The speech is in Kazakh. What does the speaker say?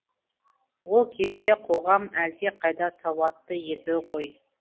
ол кезде қоғам әлдеқайда сауатты еді ғой